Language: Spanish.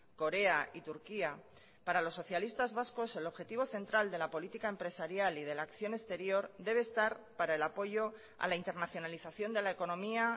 corea y turquía para los socialistas vascos el objetivo central de la política empresarial y de la acción exterior debe estar para el apoyo a la internacionalización de la economía